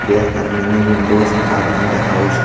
There are many windows are in the house.